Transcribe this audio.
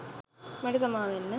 මට සමාවෙන්න